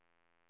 stående